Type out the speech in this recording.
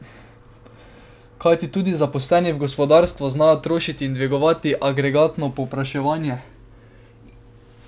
Kajti tudi zaposleni v gospodarstvu znajo trošiti in dvigovati agregatno povpraševanje.